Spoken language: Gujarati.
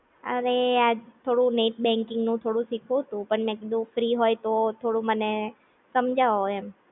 અરે આ થોડું નેટ બૅન્કિંગ નું થોડું શીખવું તું પણ મે કીધું ફ્રી હોય તો થોડું મને સમજાવો એમ